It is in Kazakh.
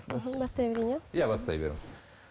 мхм бастай берейін иә иә бастай беріңіз